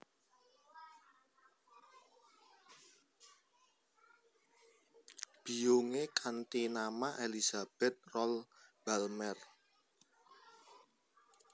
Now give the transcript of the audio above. Biyungé kanthi nama Elizabeth Rolle Balmer